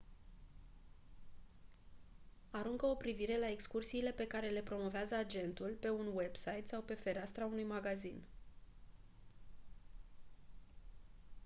aruncă o privire la excursiile pe cale le promovează agentul pe un website sau pe fereastra unui magazin